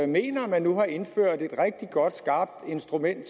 mener at man har indført et rigtig godt skarpt instrument